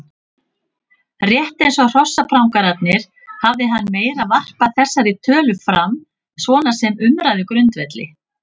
Rétt eins og hrossaprangararnir hafði hann meira varpað þessari tölu fram svona sem umræðugrundvelli.